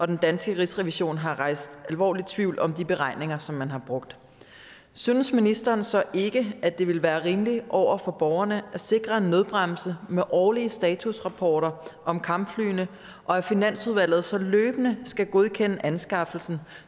den danske rigsrevision har rejst alvorlig tvivl om de beregninger som man har brugt synes ministeren så ikke at det vil være rimeligt over for borgerne at sikre en nødbremse med årlige statusrapporter om kampflyene og at finansudvalget så løbende skal godkende anskaffelsen